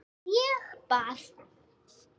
Ég bað